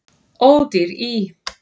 Ódýr í